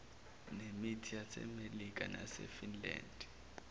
nemit yasemelika nefinland